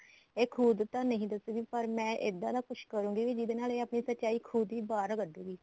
ਇਹ ਖੁਦ ਤਾਂ ਨਹੀਂ ਦੱਸਦੀ ਪਰ ਮੈਂ ਇੱਦਾਂ ਦਾ ਕੁੱਝ ਕਰੁਂਗੀ ਵੀ ਜਿਹਦੇ ਨਾਲ ਇਹ ਆਪਣੀ ਸਚਾਈ ਖੁਦ ਹੀ ਬਾਹਰ ਕਡੂਗੀ